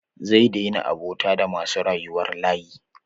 Zai daina abota da masu rayuwar layi.